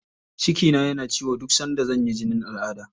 Cikina yana ciwo duk sanda zan yi jinin al'adda.